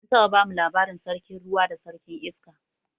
An taɓa bamu labarin sarkin ruwa da sarkin iska